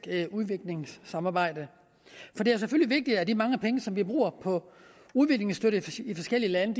udviklingssamarbejde for det er selvfølgelig vigtigt at de mange penge som vi bruger på udviklingsstøtte i de forskellige lande